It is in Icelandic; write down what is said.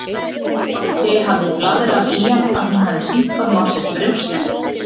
Doddi hafi blaðrað í hann að hún hafi sýnt honum á sér brjóstin.